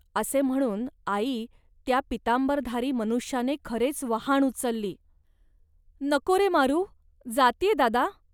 असे म्हणून आई, त्या पीतांबरधारी मनुष्याने खरेच वहाण उचलली. नको रे मारु, जात्ये, रे दादा